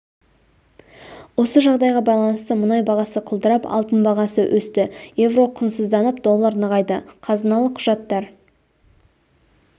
осы жағдайға байланысты мұнай бағасы құлдырап алтын бағасы өсті еуро құнсызданып доллар нығайды қазыналық құжаттар